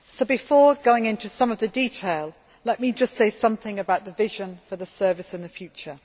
Before going into some of the detail, I would just like to say something about the vision for the Service in the future.